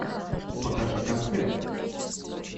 покажи концерт